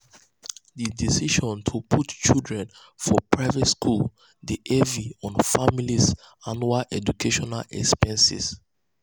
di decision to put children for private schools dey heavy on on families' annual educational expenses.